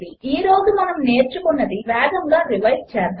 ఈ రోజు మనము నేర్చుకున్నది వేగముగా రివైస్ చేద్దాము